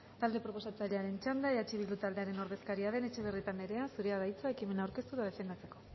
talde proposatzailearen txanda eh bildu taldearen ordezkaria den etxebarrieta anderea zurea da hitza ekimena aurkeztu eta defendatzeko